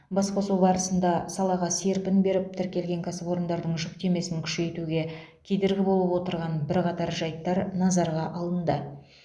басқосу барысында салаға серпін беріп тіркелген кәсіпорындардың жүктемесін күшейтуге кедергі болып отырған бірқатар жайттар назарға алынды